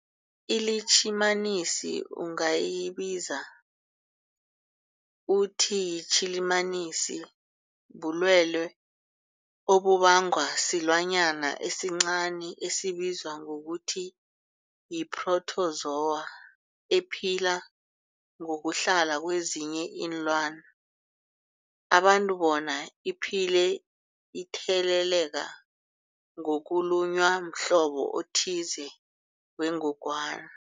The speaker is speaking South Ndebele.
ILitjhimanisi ungayibiza uthiyilitjhimanisi, bulwelwe obubangwa silwanyana esincani esibizwa ngokuthiyi-phrotozowa ephila ngokuhlala kezinye iinlwana, abantu bona iphile itheleleka ngokulunywa mhlobo othize wengogwana.